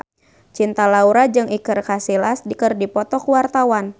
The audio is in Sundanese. Cinta Laura jeung Iker Casillas keur dipoto ku wartawan